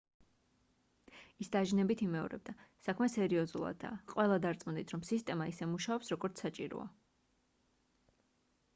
ის დაჟინებით იმეორებდა საქმე სერიოზულადაა ყველა დარწმუნდით რომ სისტემა ისე მუშაობს როგორც საჭიროა